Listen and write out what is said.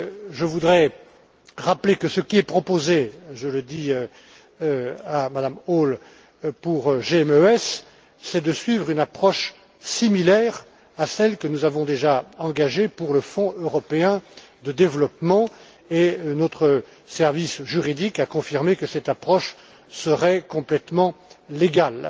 Je voudrais rappeler que ce qui est proposé je le dis à Mme Hall pour GMES, c'est de suivre une approche similaire à celle que nous avons déjà engagée pour le Fonds européen de développement, dont notre service juridique a confirmé qu'elle serait complètement légale.